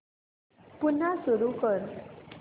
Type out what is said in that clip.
पुन्हा सुरू कर